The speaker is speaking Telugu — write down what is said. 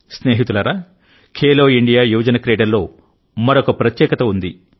స్నేహితులారాఖేలో ఇండియా యువజన క్రీడల్లో మరో ప్రత్యేకత ఉంది